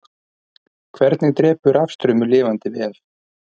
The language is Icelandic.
hvernig drepur rafstraumur lifandi vef